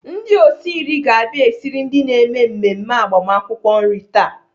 Ndị osi nri ga-abia esiri ndị na-eme mmemme agbamakwụkwọ nri taa.